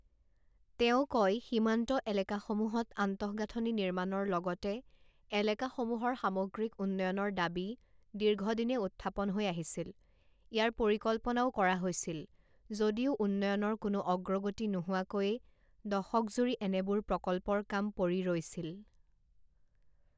তেওঁ কয়, সীমান্ত এলেকাসমূহত আন্তঃগাঁথনি নিৰ্মাণৰ লগতে এলেকাসমূহৰ সামগ্ৰীক উন্নয়ণৰ দাবী দীৰ্ঘদিনে উথ্থাপন হৈ আহিছিল, ইয়াৰ পৰিকল্পনাও কৰা হৈছিল যদিও উন্নয়ণৰ কোনো অগ্ৰগতি নোহোৱাকৈয়ে দশকজুৰি এনেবোৰ প্ৰকল্পৰ কাম পৰি ৰৈছিল।